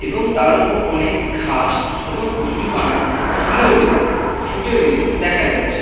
এবং তার ওপর অনেক ঘাস এবং কচুরিপানা ফুলে রয়েছে ফুটে রয়েছে দেখা যাচ্ছে।